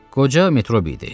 Qoca Metrobi idi.